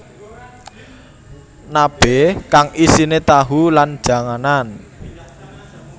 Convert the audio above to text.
Nabe kang isine tahu lan janganan